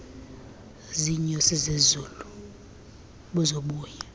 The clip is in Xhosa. ziinyosi zezulu buzobuya